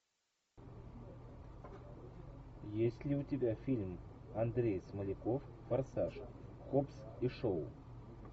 есть ли у тебя фильм андрей смоляков форсаж хоббс и шоу